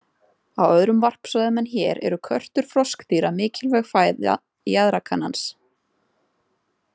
Á öðrum varpsvæðum en hér eru körtur froskdýra mikilvæg fæða jaðrakanans.